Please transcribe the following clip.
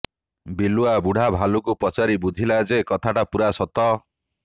ବିଲୁଆ ବୁଢାଭାଲୁକୁ ପଚାରି ବୁଝିଲା ଯେ କଥାଟା ପୂରା ସତ